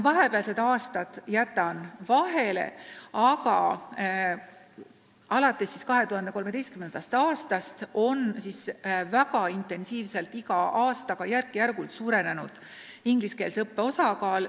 Vahepealsed aastad ma jätan vahele, aga alates 2013. aastast on väga intensiivselt iga aastaga suurenenud ingliskeelse õppe osakaal.